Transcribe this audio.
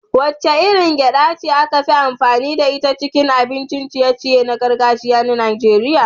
Wacce irin gyaɗa ce ake amfani da ita a cikin abincin ciye-ciye na gargajiya na Najeriya?